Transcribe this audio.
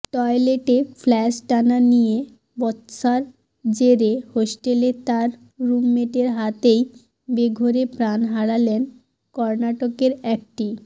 টয়লেটে ফ্লাশ টানা নিয়ে বচসার জেরে হস্টেলে তাঁর রুমমেটের হাতেই বেঘোরে প্রাণ হারালেন কর্নাটকের একটি